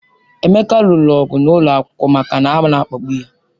Emeka lụrụ ọgụ n'ụlọ akwụkwọ maka na ana-akpagbu ya.